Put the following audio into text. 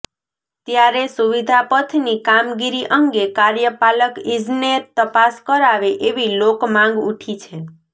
ત્યારે સુવિધા પથની કામગીરી અંગે કાર્યપાલક ઇજનેર તપાસ કરાવે એવી લોક માંગ ઊઠી છે